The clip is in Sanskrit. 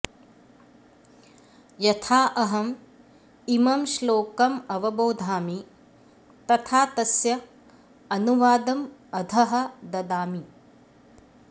यथा अहम् इमं श्लोकम् अवबोधामि तथा तस्य अनुवादम् अधः ददामि